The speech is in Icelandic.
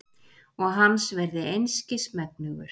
Og hans verði einskis megnugur.